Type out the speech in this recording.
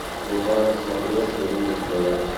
врубай на смотрешке рубль тв